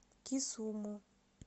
кисуму